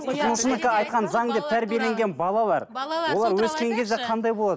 тұтынушынікі айтқаны заң деп тәрбиленген балалар олар өскен кезде қандай болады